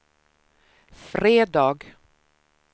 fredag